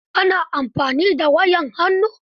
Ka na amfani da wayar hannu?